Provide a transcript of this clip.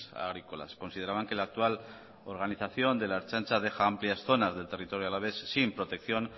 agrícolas consideraban que la actual organización de la ertzaintza deja amplias zonas del territorio alavés sin protección